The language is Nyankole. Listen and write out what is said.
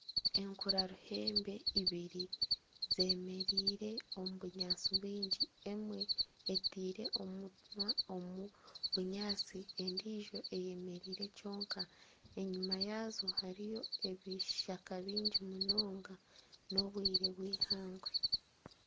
Enkura ruhembe ibiri zemereire omu bunyatsi bwingi emwe etaire omunwa omu bunyatsi endiijo eyemereire kyonka enyuma yaazo hariyo ebishaka bingi munonga n'obwire bw'eihangwe.